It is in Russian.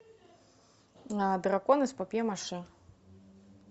дракон из папье маше